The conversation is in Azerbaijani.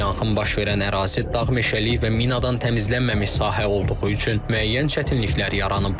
Yanğın baş verən ərazi dağ-meşəlik və minadan təmizlənməmiş sahə olduğu üçün müəyyən çətinliklər yaranıb.